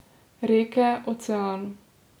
Reke, ocean.